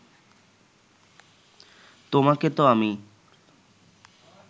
তোমাকে তো আমি